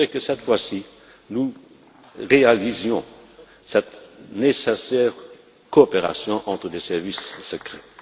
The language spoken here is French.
Je voudrais que, cette fois ci, nous réalisions cette nécessaire coopération entre les services secrets.